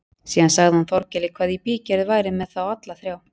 Síðan sagði hann Þórkeli hvað í bígerð væri með þá alla þrjá.